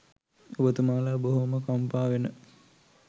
ඔබතුමාලා බොහොම කම්පා වෙන